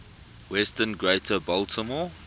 western greater baltimore